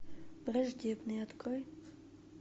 враждебные открой